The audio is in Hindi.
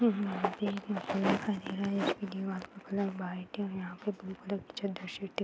यहाँ पर एक दिखाई दे रहा है उसपे दीवाल का कलर वाइट है और यहाँ पे ब्लू कलर की --